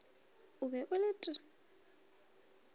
o be o le t